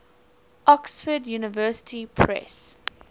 oxford university press